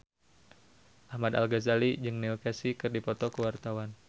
Ahmad Al-Ghazali jeung Neil Casey keur dipoto ku wartawan